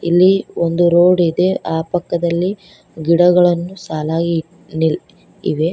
ಇಲ್ಲಿ ಒಂದು ರೋಡ್ ಇದೆ ಆ ಪಕ್ಕದಲ್ಲಿ ಗಿಡಗಳನ್ನು ಸಾಲಾಗಿ ನಿಲ್ ಇವೆ.